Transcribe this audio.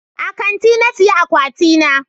A kanti na saya akwati na